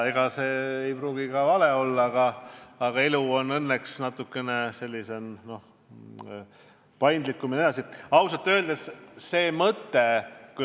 Ega see ei pruugi ka vale olla, aga elu on õnneks natukene paindlikum.